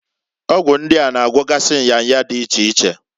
Ọgwụ ndia na- agwogasị nya nya di iche iche.